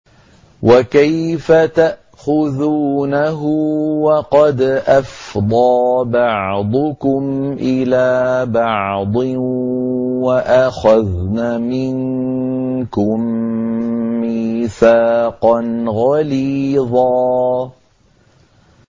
وَكَيْفَ تَأْخُذُونَهُ وَقَدْ أَفْضَىٰ بَعْضُكُمْ إِلَىٰ بَعْضٍ وَأَخَذْنَ مِنكُم مِّيثَاقًا غَلِيظًا